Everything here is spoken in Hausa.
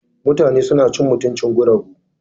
Mutane suna cin mutuncin guragu.